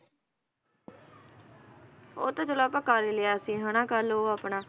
ਉਹ ਤੇ ਚਲੋ ਆਪਾਂ ਕਰ ਈ ਲਿਆ ਸੀ, ਹਨਾ ਕੱਲ ਉਹ ਆਪਣਾ